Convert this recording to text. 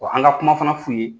Wa an ka kuma fana f'u ye